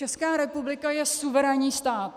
Česká republika je suverénní stát.